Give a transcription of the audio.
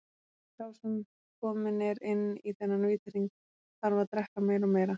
Sá sem kominn er inn í þennan vítahring, þarf að drekka meira og meira.